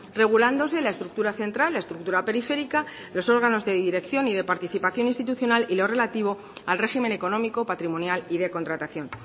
regulándose la estructura central la estructura periférica los órganos de dirección y de participación institucional y lo relativo al régimen económico patrimonial y de contratación